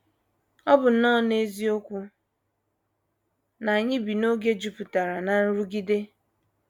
Ọ bụ nnọọ eziokwu na anyị bi n’oge jupụtara ná nrụgide.